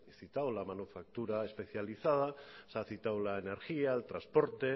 citado la manufactura especializada se ha citado la energía el transporte